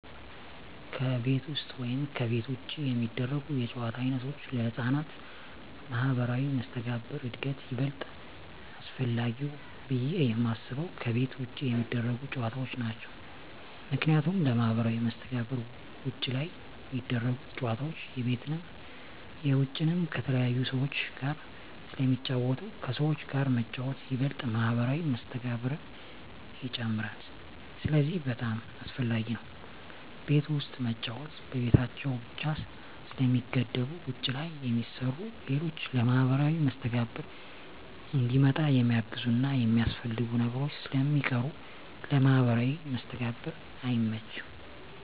ከቤት ውስጥ ወይም ከቤት ውጭ የሚደረጉ የጨዋታ ዓይነቶች ለሕፃናት ማኅበራዊ መስተጋብር እድገት ይበልጥ አስፈላጊው ብየ የማስበው ከቤት ውጭ የሚደረጉ ጨዎታዎች ናቸው ምክንያቱም ለማህበራዊ መስተጋብር ውጭ ላይ ሚደረጉት ጨወታዎች የቤትንም የውጭንም ከተለያዩ ሰዎች ጋር ስለሚጫወቱ ከሰዎች ጋር መጫወት ይበልጥ ማህበራዊ መስተጋብርን ይጨምራል ስለዚህ በጣም አሰፈላጊ ነው ቤት ውስጥ መጫወት በቤታቸው ብቻ ስለሚገደቡ ውጭ ላይ የሚሰሩ ሌሎች ለማህበራዊ መስተጋብር እንዲመጣ የሚያግዙና የሚያስፈልጉ ነገሮች ስለሚቀሩ ለማህበራዊ መስተጋብር አይመችም።